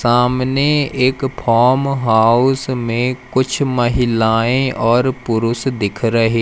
सामने एक farm house में कुछ महिलाएं और पुरुष दिख रहे--